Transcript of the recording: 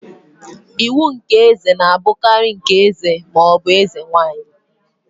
Iwu nke eze na-abụkarị nke eze ma ọ bụ eze nwanyị.